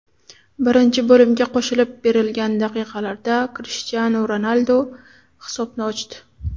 Birinchi bo‘limga qo‘shib berilgan daqiqalarda Krishtianu Ronaldu hisobni ochdi.